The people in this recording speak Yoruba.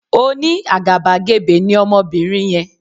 Oní àgàbàgebè ní Ọmọbinrin yen